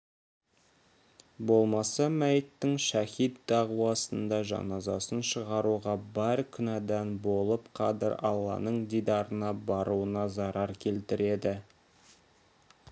болмаса мәйіттің шәһит дағуасында жаназасын шығаруға бар күнәдан болып қадір алланың дидарына баруына зарар келтіреді